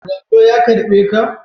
Wando ya karɓe ka?